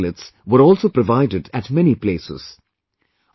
Biotoilets were also provided at many places